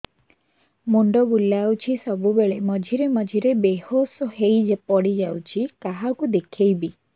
ମୁଣ୍ଡ ବୁଲାଉଛି ସବୁବେଳେ ମଝିରେ ମଝିରେ ବେହୋସ ହେଇ ପଡିଯାଉଛି କାହାକୁ ଦେଖେଇବି